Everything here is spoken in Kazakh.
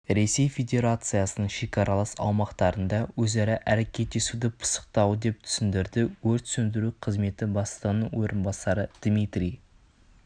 ресей федерациясының шекаралас аумақтарында өзара әрекеттесуді пысықтау деп түсіндірді өрт сөндіру қызметі бастығының орынбасары дмитрий